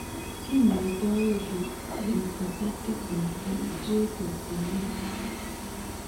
Kinyoitoono lymphocytic infliltrate of jessner